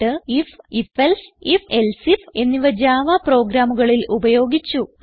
എന്നിട്ട് ഐഎഫ് ifഎൽസെ ifഎൽസെ ഐഎഫ് എന്നിവ ജാവ പ്രോഗ്രാമുകളിൽ ഉപയോഗിച്ചു